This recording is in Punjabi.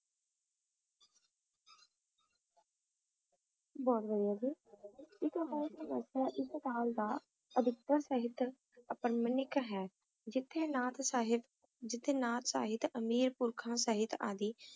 ਇੱਕ ਪੰਛੀ ਅਜੇ ਵੀ ਜਿੰਨਾ ਚਾਹੇ ਢੱਕ ਸਕਦਾ ਹੈ